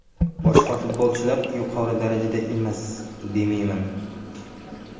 Boshqa futbolchilar yuqori darajada emas, demayman.